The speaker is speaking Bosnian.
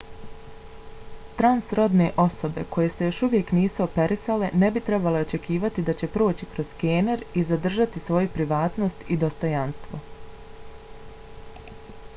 transrodne osobe koje se još uvijek nisu operisale ne bi trebale očekivati da će proći kroz skener i zadržati svoju privatnost i dostojanstvo